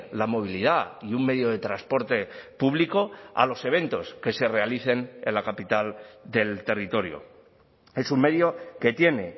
la movilidad y un medio de transporte público a los eventos que se realicen en la capital del territorio es un medio que tiene